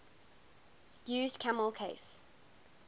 used camel case